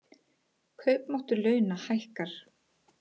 Kaupmáttur launa hækkar